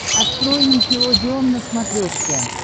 открой никелодеон на смотрешке